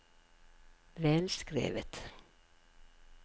velskrevet